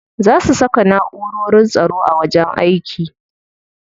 Za su saka na'urorin tsaro a wajen aiki.